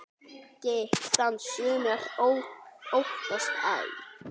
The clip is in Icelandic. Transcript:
Gikk þann sumir óttast æ.